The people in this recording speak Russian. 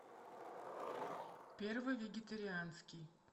первый вегетарианский